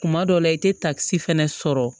Kuma dɔ la i tɛ takisi fɛnɛ sɔrɔ